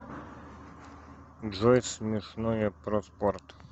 джой смешное про спорт